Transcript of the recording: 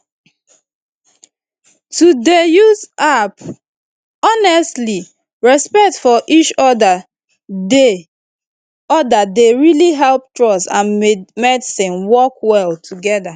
honestly respect for each other dey other dey really help trust and medicine work well together